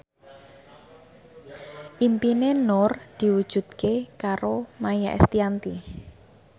impine Nur diwujudke karo Maia Estianty